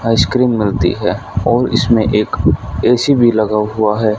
Ice cream मिलती है और इसमें एक ए_सी भी लगा हुआ है।